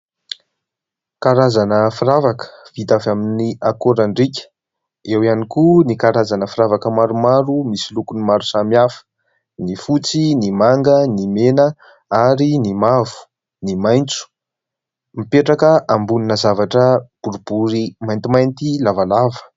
Karazana firavaka vita avy amin' ny akoran-driaka. Eo ihany koa ny karazana firavaka maromaro misy lokony maro samihafa : ny fotsy, ny manga, ny mena ary ny mavo ny maitso. Mipetraka ambonina zavatra boribory maintimainty lavalava.